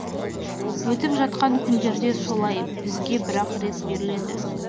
өттіп жатқан күндерде солай бізге бірақ рет беріледі